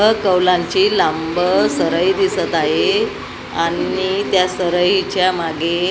अ कौलांची लांब सरई दिसत आहे आणि त्या सरईच्या मागे--